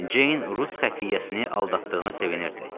Ceyn rus xəfiyyəsini aldatdığına sevinirdi.